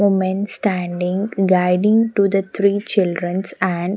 Women standing guiding to the three children's and --